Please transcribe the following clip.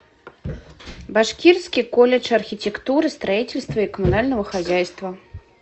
башкирский колледж архитектуры строительства и коммунального хозяйства